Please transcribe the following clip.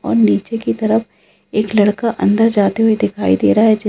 और नीचे की तरफ एक लड़का अंदर की तरफ जाते हुए दिखाई दे रहा है--